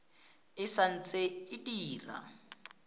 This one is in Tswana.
e sa ntse e dira